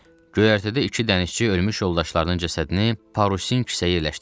Göyərtədə iki dənizçi ölmüş yoldaşlarının cəsədini parusin kisəyə yerləşdirirdi.